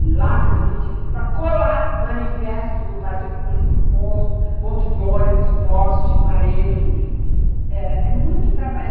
em latas de vinte litros para colar manifestos do Partido Comunista em postos, pontos de ônibus, postes, paredes, enfim.